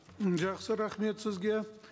м жақсы рахмет сізге